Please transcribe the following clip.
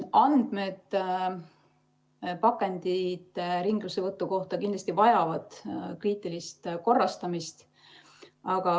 Andmed pakendite ringlussevõtu kohta vajavad kindlasti kriitilist korrastamist.